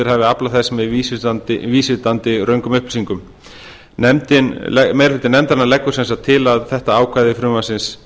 hafi aflað með vísvitandi röngum upplýsingum meiri hluti nefndarinnar leggur sem sagt til að þetta ákvæði frumvarpsins